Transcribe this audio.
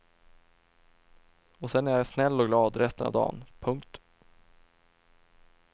Och sen är jag snäll och glad resten av dan. punkt